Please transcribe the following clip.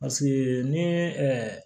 Paseke ni ye ɛɛ